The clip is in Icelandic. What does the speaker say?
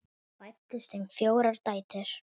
Fæddust þeim fjórar dætur.